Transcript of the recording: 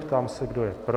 Ptám se, kdo je pro.